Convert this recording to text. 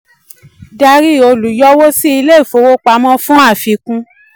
dr olùyọwó sí ilé-ìfowópamọ́ fún àfikún